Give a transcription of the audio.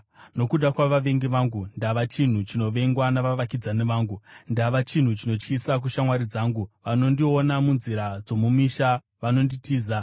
Nokuda kwavavengi vangu, ndava chinhu chinovengwa navavakidzani vangu; ndava chinhu chinotyisa kushamwari dzangu; vanondiona munzira dzomumisha vanonditiza.